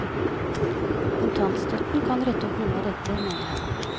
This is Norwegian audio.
Kontantstøtten kan rette opp noe av dette, mener han.